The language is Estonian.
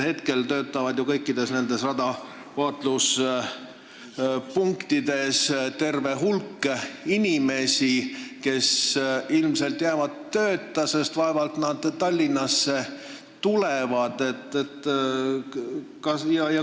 Praegu töötab ju kõikides nendes radarvaatluspunktides terve hulk inimesi, kes ilmselt jäävad tööta, sest vaevalt nad Tallinnasse tulevad.